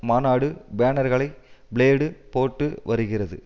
மாநாடு பேனர்களை ப்ளேடு போட்டு வருகிறது